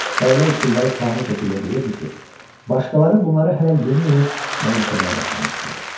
Bəyələ üsulları kamil şəkildə bilirdi ki, başqaları bunları hələ yeni-yeni mənimsəməyə başlamışdılar.